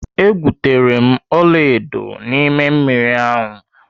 E gwutere m ọlaedo n'ime mmiri ahụ.